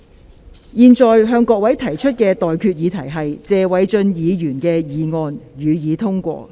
我現在向各位提出的待決議題是：謝偉俊議員動議的議案，予以通過。